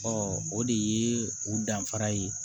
o de ye u danfara ye